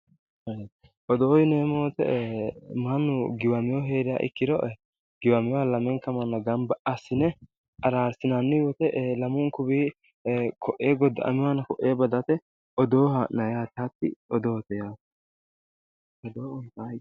Odoo yinneemmo woyte mannu giwammohu heeriro giwamoha lamenka manna gamba assine ararsinanni woyte lamunkuwi koe goda"aminohano ko'e badate odoo haa'nanni yaate, hatti odoote yaate.